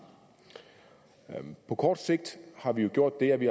på kort sigt har vi jo gjort det at vi